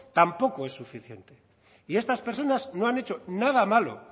tampoco es suficiente y estas personas no han hecho nada malo